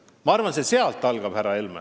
Ma arvan, et see kõik algab sealt, härra Helme.